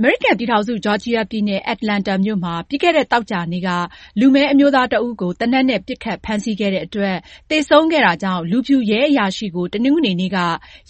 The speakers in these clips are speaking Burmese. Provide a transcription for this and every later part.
အမေရိကန်ပြည်ထောင်စု ဂျော်ဂျီယာပြည်နယ် Atlanta မြို့မှာ ပြီးခဲ့တဲ့ သောကြာနေ့က လူမည်းအမျိုးသားတဦးကို သေနတ်နဲ့ ပစ်ခတ်ဖမ်းဆီးခဲ့တဲ့အတွက် သေဆုံးခဲ့တာကြောင့် လူဖြူရဲအရာရှိကို တနင်္ဂနွေနေ့က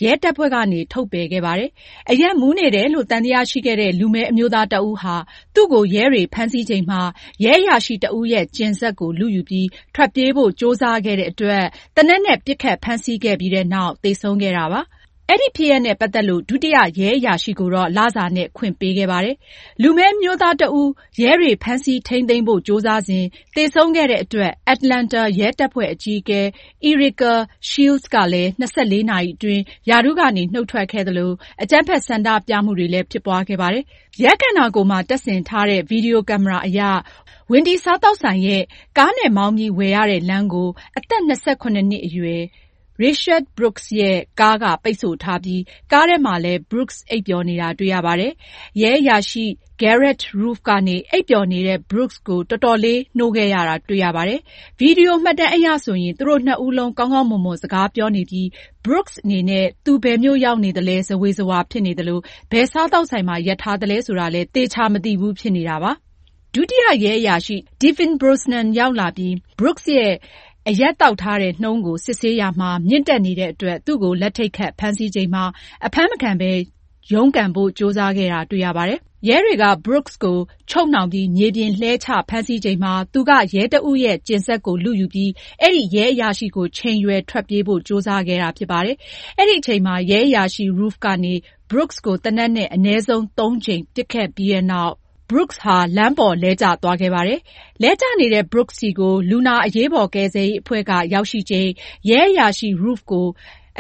ရဲတပ်ဖွဲ့ကနေ ထုတ်ပယ်ခဲ့ပါတယ်။ အရက်မူးနေတယ်လို့ သံသယရှိခဲ့တဲ့ လူမည်းအမျိုးသားတဦးဟာ သူ့ကို ရဲတွေဖမ်းဆီးချိန်မှာ ရဲအရာရှိတဦးရဲ့ ကျဉ်စက်ကို လုယူပြီး ထွက်ပြေးဖို့ ကြိုးစားခဲ့တဲ့အတွက် သေနတ်နဲ့ ပစ်ခတ်ဖမ်းဆီးခဲ့ပြီးနောက် သေဆုံးခဲ့တာ ဖြစ်ပါတယ်။ အဲဒီဖြစ်ရပ်နဲ့ ပတ်သက်လို့ ဒုတိယရဲအရာရှိကိုတော့ လစာနဲ့ ခွင့်ပေးခဲ့ပါတယ်။ လူမည်းအမျိုးသားတဦး ရဲတွေ ဖမ်းဆီးထိန်းသိမ်းဖို့ ကြိုးစားစဉ် သေဆုံးခဲ့တဲ့အတွက် Atlanta ရဲတပ်ဖွဲ့ အကြီးအကဲ Erika Shields ကလည်း ၂၄ နာရီအတွင်း ရာထူးကနေ နုတ်ထွက်ခဲ့သလို အကြမ်းဖက် ဆန္ဒပြမှုတွေလည်း ဖြစ်ပွားခဲ့ပါတယ်။ ရဲခန္ဓာကိုယ်မှာ တပ်ဆင်ထားတဲ့ ဗွီဒီယိုကင်မရာအရ Wendy စားသောက်ဆိုင်ရဲ့ ကားနဲ့မောင်းပြီးဝယ်ရတဲ့ လမ်းကို အသက် ၂၇ နှစ်အရွယ် Rayshard Brooks ရဲ့ ကားက ပိတ်ဆို့ထားပြီး ကားထဲမှာလည်း Brooks အိပ်ပျော်နေတာ တွေ့ရပါတယ်။ ရဲအရာရှိ Garrett Rolfe က အိပ်ပျော်နေတဲ့ Brooks ကို အချိန်ယူပြီး နှိုးခဲ့ရတာ တွေ့ရပါတယ်။ ဗွီဒီယိုမှတ်တမ်းအရဆိုရင် သူတို့နှစ်ဦးလုံး ကောင်းကောင်းမွန်မွန် စကားပြောနေပြီး Brooks အနေနဲ့ သူဘယ်မြို့ရောက်နေသလဲ ဇဝေဇဝါ ဖြစ်နေသလို ဘယ်စားသောက်ဆိုင်မှာ ရပ်ထားသလဲ ဆိုတာလည်း သေချာမသိဘူး ဖြစ်နေတာပါ။ ဒုတိယရဲအရာရှိ Devin Brosnan ရောက်လာပြီးနောက် Brooks ရဲ့ အရက်သောက်ထားတဲ့နှုန်းကို စစ်ဆေးရာမှာ မြင့်တက်နေတဲ့အတွက် သူ့ကို လက်ထိပ်ခတ် ဖမ်းဆီးချိန်မှာ အဖမ်းမခံဘဲ ရုန်းကန်ဖို့ ကြိုးစားခဲ့တာ တွေ့ရပါတယ်။ ရဲတွေက Brooks ကို ချုပ်နှောင်ပြီး မြေပြင်လှဲချဖမ်းဆီးချိန်မှာ သူက ရဲတဦးရဲ့ ကျဉ်စက်ကို လုယူပြီး အဲဒီရဲအရာရှိကို ချိန်ရွယ် ထွက်ပြေးဖို့ ကြိုးစားခဲ့တာ ဖြစ်ပါတယ်။ အဲဒီအချိန်မှာ ရဲအရာရှိ Rolfe ကနေ Brooks ကို သေနတ်နဲ့ အနည်းဆုံး သုံးကြိမ် ပစ်ခဲ့ပြီးနောက် Brooks ဟာ လမ်းပေါ် လမ်းကျသွားခဲ့ပါတယ်။ လဲကျနေတဲ့ Brooks ဆီကို လူနာ အရေးပေါ်ကယ်ဆယ်ရေးအဖွဲ့ ရောက်ရှိချိန် ရဲအရာရှိ Rolfe ကို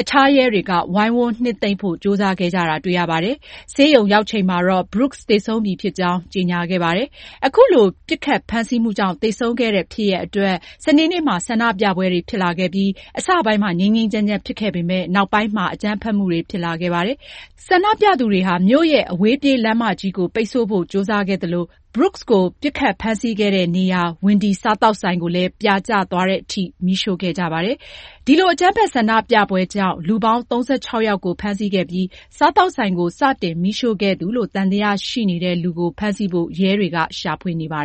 အခြားရဲတွေက ဝိုင်းဝန်းနှစ်သိမ့်ဖို့ ကြိုးစားခဲ့ကြတာကို တွေ့ရပါတယ်။ ဆေးရုံရောက်ချိန်မှာတော့ Brooks သေဆုံးပြီဖြစ်ကြောင်း ကြေညာခဲ့ပါတယ်။ အခုလို ပစ်ခတ်ဖမ်းဆီးမှုကြောင့် သေဆုံးခဲ့တဲ့ ဖြစ်ရပ်အတွက် စနေနေ့မှာ ဆန္ဒပြပွဲတွေ ဖြစ်လာခဲ့ပြီး အစပိုင်းမှာ ငြိမ်းငြိမ်းချမ်းချမ်း ဖြစ်ခဲ့ပေမယ့် နောက်ပိုင်းမှာ အကြမ်းဖက်မှုတွေ ဖြစ်လာခဲ့ပါတယ်။ ဆန္ဒပြသူတွေဟာ မြို့ရဲ့ အဝေးပြေးလမ်းမကြီးကို ပိတ်ဆို့ဖို့ ကြိုးစားခဲ့သလို Brooks ကို ပစ်ခတ်ဖမ်းဆီးခဲ့တဲ့နေရာ Wendy စားသောက်ဆိုင်ကိုလည်း ပြာကျသွားတဲ့အထိ မီးရှို့ခဲ့ကြပါတယ်။ ဒီလို အကြမ်းဖက် ဆန္ဒပြပွဲကြောင့် လူပေါင်း ၃၆ ယောက်ကို ဖမ်းဆီးခဲ့ပြီး စားသောက်ဆိုင်ကို စတင်မီးရှို့ခဲ့သူလို့ သံသယရှိနေတဲ့လူကို ဖမ်းဆီးဖို့ ရဲတွေက ရှာဖွေနေပါ